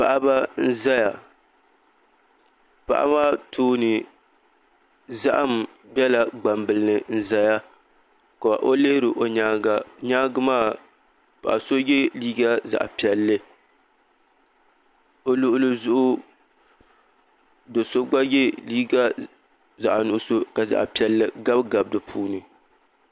Paɣaba n ʒɛya paɣaba maa tooni zaham biɛla gbambili ni n ʒɛya ka o lihiri o nyaanga nyaangi maa paɣa so yɛ liiga zaɣ piɛlli bi luɣuli zuɣu do so gba yɛ liiga zaɣ nuɣso ka zaɣ piɛlli gabi gabi di puuni